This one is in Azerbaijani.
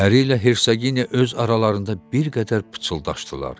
Pəri ilə Hersaqiniya öz aralarında bir qədər pıçıldaşdılar.